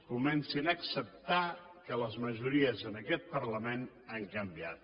comencin a acceptar que les majories en aquest parlament han canviat